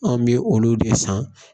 An bɛ olu de san